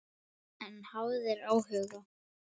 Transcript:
En hafðir áhuga.